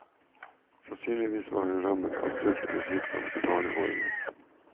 Sannsynligvis var hun rammet av sult eller sykdom i barneårene.